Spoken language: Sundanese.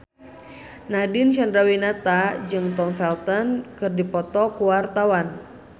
Nadine Chandrawinata jeung Tom Felton keur dipoto ku wartawan